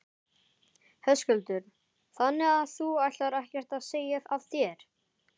Höskuldur: Þannig að þú ætlar ekkert að segja af þér?